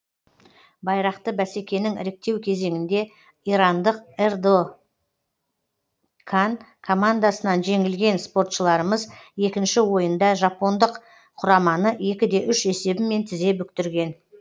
байрақты бәсекенің іріктеу кезеңінде ирандық эрдокан командасынан жеңілген спортшыларымыз екінші ойында жапондық құраманы екіде үш есебімен тізе бүктірген